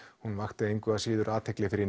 hún vakti engu að síður athygli fyrir